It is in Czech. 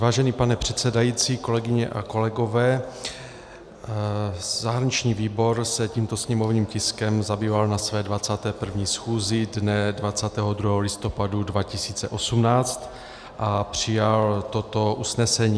Vážený pane předsedající, kolegyně a kolegové, zahraniční výbor se tímto sněmovním tiskem zabýval na své 21. schůzi dne 22. listopadu 2018 a přijal toto usnesení: